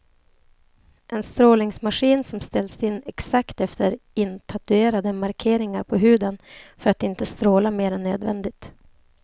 En strålningsmaskin som ställs in exakt efter intatuerade markeringar på huden för att inte stråla mer än nödvändigt.